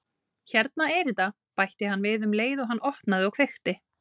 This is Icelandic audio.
Hérna er þetta- bætti hann við um leið og hann opnaði og kveikti.